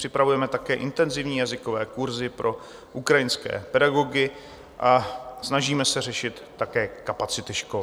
Připravujeme také intenzivní jazykové kurzy pro ukrajinské pedagogy a snažíme se řešit také kapacity škol.